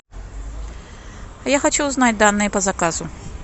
я хочу узнать данные по заказу